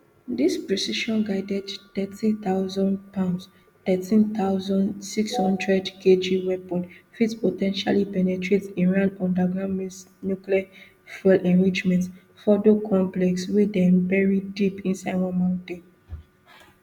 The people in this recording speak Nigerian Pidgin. dis precisionguided thirty thousandpound thirteen thousand, six hundred kg weapon fit po ten tially penetrate iran underground nuclear fuel enrichment fordo complex wey dem bury deep inside one mountain